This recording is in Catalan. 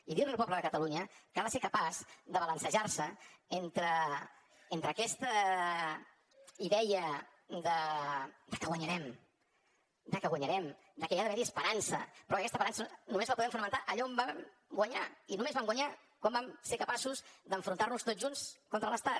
i dir li al poble de catalunya que ha de ser capaç de balancejar se entre aquesta idea de que guanyarem de que guanyarem de que hi ha d’haver esperança però que aquesta esperança només la podem fonamentar allà on vam guanyar i només vam guanyar quan vam ser capaços d’enfrontar nos tots junts contra l’estat